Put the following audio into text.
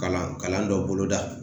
Kalan kalan dɔ boloda